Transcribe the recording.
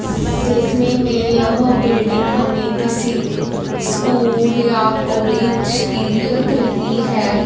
देखने में यह बिल्डिंग हमें किसी स्कूल या कॉलेज की लग रही है।